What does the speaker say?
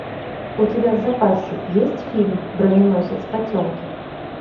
у тебя в запасе есть фильм броненосец потемкин